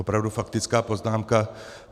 Opravdu faktická poznámka.